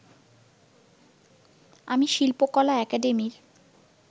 আমি শিল্পকলা একাডেমীর